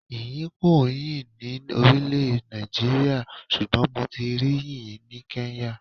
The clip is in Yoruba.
Yìnyín kì ń yóò ní orílẹ̀ Nàìjíríà, ṣùgbọ́n mo ti rí yìnyín ni Kenya.